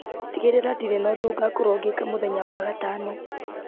tigĩrĩra ndirĩ na ũndũ ngakorwo ngĩka mũthenya wa gatano